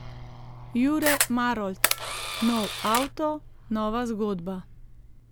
Jure Marolt: 'Nov avto, nova zgodba.